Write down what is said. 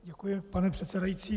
Děkuji, pane předsedající.